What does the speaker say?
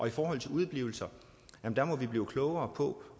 i forhold til udeblivelser må vi blive klogere på